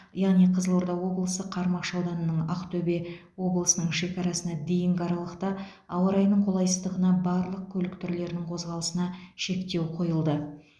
яғни қызылорда облысы қармақшы ауданының ақтөбе облысының шекарасына дейінгі аралықта ауа райының қолайсыздығына барлық көлік түрлерінің қозғалысына шектеу қойылды